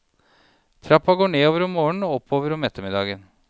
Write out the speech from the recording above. Trappa går nedover om morgenen og oppover om ettermiddagen.